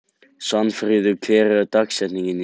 Svanfríður, hver er dagsetningin í dag?